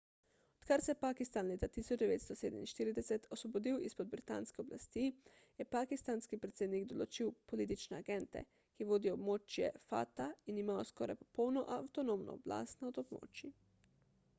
odkar se je pakistan leta 1947 osvobodil izpod britanske oblasti je pakistanski predsednik določil politične agente ki vodijo območja fata in imajo skoraj popolno avtonomno oblast nad območji